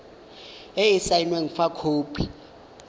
e e saenweng fa khopi